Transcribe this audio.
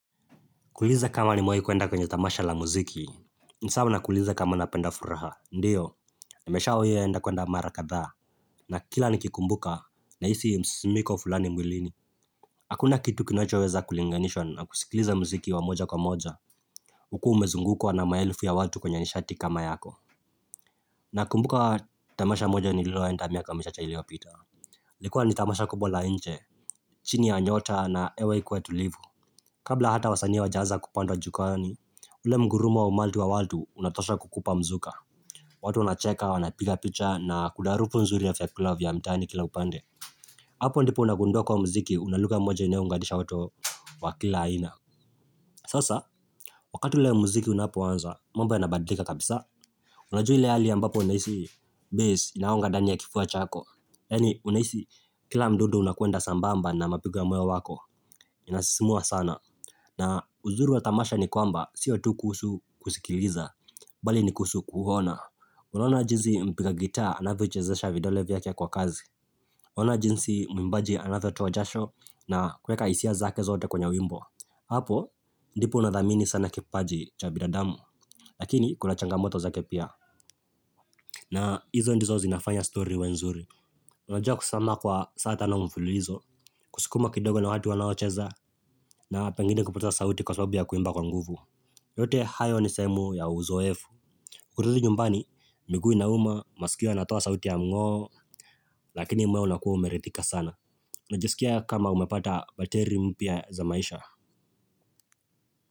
Kuuliza kama nimewahi kuenda kwenye tamasha la muziki Nisawa na kuuliza kama napenda furaha, ndiyo, nimeshawi enda kuenda mara kadha na kila nikikumbuka, nahisi msimimko fulani mwilini Hakuna kitu kinacho weza kulinganishwa na kusikiliza muziki wamoja kwa moja Ukiwa umezungukwa na maelfu ya watu kwenye nishati kama yako na kumbuka tamasha moja ni lilo enda miaka michache iliyopita ilikuwa ni tamasha kubwa la nje, chini ya nyota na hewa ikiwa tulivu Kabla hata wasanii hawajaanza kupanda jukwani, ule mngurumo wa umati wa watu unatosha kukupa mzuka watu wanacheka wanapiga picha na kuna harufu nzuri yavyakula vya mtaani kila upande Hapo ndipo unagunduwa kwa mziki unalugha mmoja inayounganisha watu wa kila aina Sasa, wakati ule mziki unapoanza, mambo yanabadilika kabisa Unajui ile hali ambapo unahisi bass inagonga ndani ya kifua chako Yaani unahisi kila mdundu unakuenda sambamba na mapigo ya moyo wako, inasisimua sana na uzuri wa tamasha ni kwamba, sio tu kuhusu kusikiliza, bali ni kuhusu kuona. Unaona jinsi mpiga gitaa, anavyochezesha vidole vyake kwa kasi. Unaona jinsi mwimbaji anavyotoa jasho, na kuweka hisia zake zote kwenye wimbo. Hapo, ndipo unadhamini sana kipaji cha bidadamu, lakini kuna changamoto zake pia. Na hizo ndizo zinafanya stori iwe nzuri. Unajua kusimama kwa saa tano mfululuzo, kuskuma kidogo na watu wanaocheza, na pengine kupotesa sauti kwa sababu ya kuimba kwa nguvu. Yote hayo ni sehemu ya uzoefu kurudi nyumbani, miguu inauma Maskio natua sauti ya mngo Lakini moyo unakua umeridhika sana unajisikia kama umepata Bateri mpya za maisha.